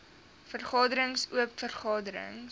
vergaderings oop vergaderings